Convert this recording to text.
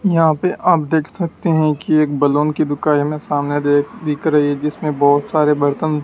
यहाँ पे आप देख सकते हैं कि एक बलून की दुका ये हमें सामने देख दिख रही है जिसमें बहोत सारे बर्तन --